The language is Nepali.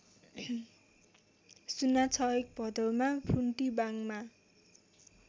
०६१ भदौमा फुन्टीबाङमा